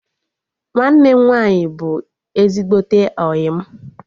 Nwanne m nwaanyị bụ ezigbote ọyị m